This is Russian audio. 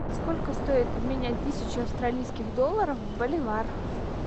сколько стоит обменять тысячу австралийских долларов в боливар